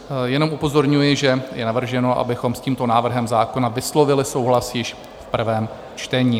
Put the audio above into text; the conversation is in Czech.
Jenom upozorňuji, že je navrženo, abychom s tímto návrhem zákona vyslovili souhlas již v prvém čtení.